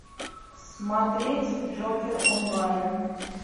смотреть джокер онлайн